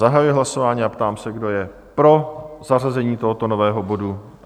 Zahajuji hlasování a ptám se, kdo je pro zařazení tohoto nového bodu?